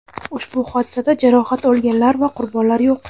ushbu hodisada jarohat olganlar va qurbonlar yo‘q.